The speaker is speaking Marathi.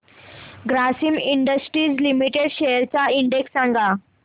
ग्रासिम इंडस्ट्रीज लिमिटेड शेअर्स चा इंडेक्स सांगा